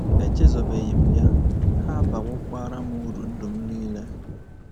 Echezọbeghị m ya, ha abawokwara m uru ndụ m nile.